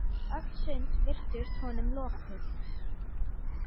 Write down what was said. Öll sund virtust honum lokuð.